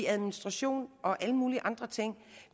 administration og alle mulige andre ting